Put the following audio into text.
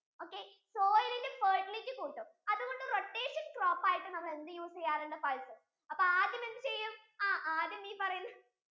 okay soil ഇന്റെ fertility കൂട്ടും അതുകൊണ്ടു rotation crop ആയിട്ടു എന്ത് use ചെയ്യാറുണ്ട്? pulses അപ്പൊ ആദ്യം എന്ത് ചെയ്യും ആ ആദ്യം ഈ പറയുന്ന